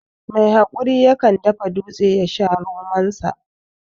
Mai hakuri ya kan dafa dutse ya sha ronin da